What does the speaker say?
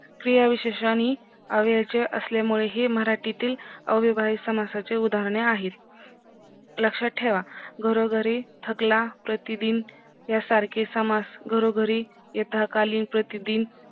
क्रियाविशेषण ही अव्यव चे असले मुळे ही मराठीतील अविभाजीत समासाचे उदारणहे आहेत लक्षात ठेवा घरोघरी थकला प्रतिदिन या सारखे समास घरोघरी यथाकाली प्रतिदिन